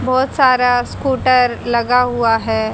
बहुत सारा स्कूटर लगा हुआ है।